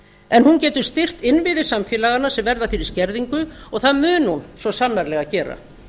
en hún getur styrkt innviði samfélaganna sem verða fyrir skerðingu og það mun hún svo sannarlega gera